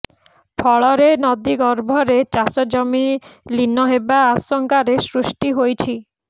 ଫଳରେ ନଦୀ ଗର୍ଭରେ ଚାଷ ଜମି ଲୀନ ହେବା ଆଶଙ୍କାରେ ସୃଷ୍ଟି ହୋଇଛି